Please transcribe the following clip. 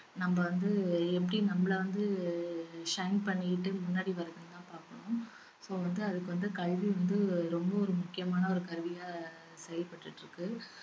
நம்ம வந்து எப்படி நம்மள வந்து அஹ் shine பண்ணிகிட்டு முன்னாடி வரதுன்னு தான் பாக்கணும் so வந்து அதுக்கு வந்து கல்வி வந்து ரொம்ப ஒரு முக்கியமான ஒரு கருவியா செயல்பட்டுட்டிருக்கு